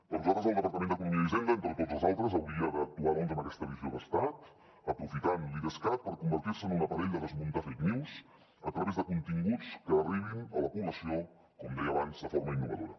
per nosaltres el departament d’economia i hisenda entre tots els altres hauria d’actuar doncs amb aquesta visió d’estat aprofitant l’idescat per convertir se en un aparell de desmuntar fake news a través de continguts que arribin a la població com deia abans de forma innovadora